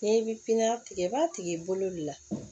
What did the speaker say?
N'i bi pipiniyɛri tigɛ i b'a tigi bolo de la